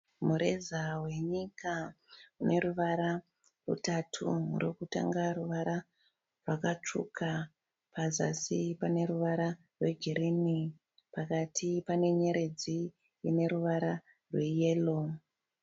Mureza wenyika une ruvara rutatu. Rokutanga ruvara rwakatsvuka, pazasi pane ruvara rwegirinhi, pakati pane nyeredzi ine ruvara rweyero.